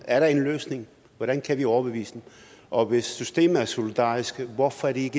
er der en løsning hvordan kan vi overbevise dem og hvis systemet er solidarisk hvorfor er de